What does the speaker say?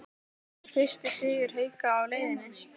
ER FYRSTI SIGUR HAUKA Á LEIÐINNI???